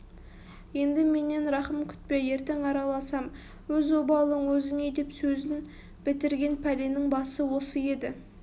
енді менен рақым күтпе ертең араласам өз обалың әзіңе деп сөзін бітірген пәленің басы осы еді